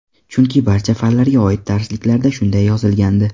Chunki barcha fanlarga oid darsliklarda shunday yozilgandi.